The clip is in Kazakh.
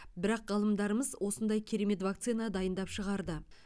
бірақ ғалымдарымыз осындай керемет вакцина дайындап шығарды